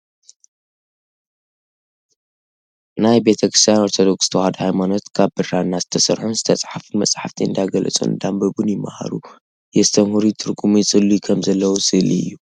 ናይ ቤተ ክርስትያን ኦርተዶክስ ተዋህዶ ሃይማኖት ክኣብ ብራና ዝተሰርሑን ዝትጸሓፉን መጻሕፍቲ እንዳገንጸሉን እንዳኣንበቡን ይመሃሩ፥ የስተምህሩ፥ ይትርጉሙ፥ ይጽልዩ ከም ዘለዉ ስእሊ እዩ።